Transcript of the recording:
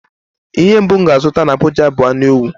Ihe mbụ m ga-azụta n'Abụja bụ anu ewu.